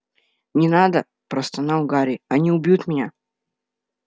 не надо простонал гарри они убьют меня